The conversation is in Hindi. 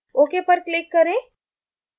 ok पर click करें